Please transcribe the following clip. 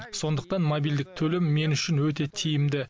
сондықтан мобильдік төлем мен үшін өте тиімді